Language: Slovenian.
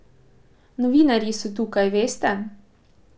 Novinarji so tukaj, veste.